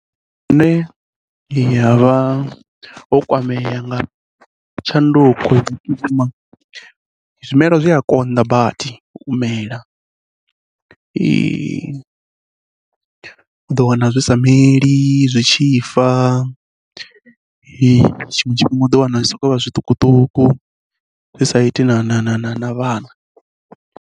Nṋe ya vha yo kwamea nga tshanduko vhukuma, zwimela zwi a konḓa badi u mela, u ḓo wana zwi sa meli zwi tshi fa, tshiṅwe tshifhinga u ḓo wana zwi sokou vha zwiṱukuṱuku zwi sa iti na vhana.